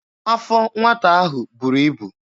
Afọ nwata ahụ buru ibu.